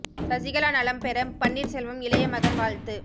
சசிகலா நலம் பெற பன்னீர்செல்வம் இளைய மகன் வாழ்த்து